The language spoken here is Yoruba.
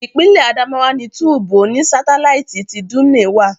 Ìpínlè Adamawa ni túbú oní sátáláìtì ti Dumne wà